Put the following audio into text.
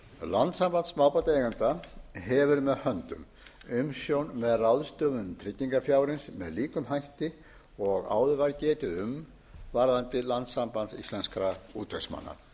landssamband smábátaeigenda hefur með höndum umsjón með ráðstöfun tryggingarfjárins með líkum hætti og áður var getið um varðandi landssamband íslenskra útvegsmanna xxx fimmtíu og ein fimmtíu og fimm